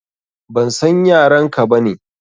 Ban san yaran ka ba ne.